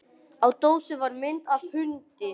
Á dósinni var mynd af hundi.